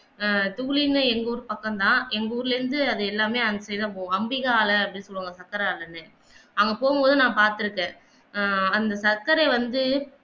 ஆஹ் துளினா எங்க ஊரு பக்கம் தான் எங்க ஊர்ல இருந்து அது எல்லாமே அந்த side கு தான் போகும் அம்பிக ஆல அப்படின்னு சொல்வாங்க சக்கர ஆல என்று அங்க போகும்போது நான் பார்த்திருக்கேன் ஆஹ் அந்த சக்கரைய வந்து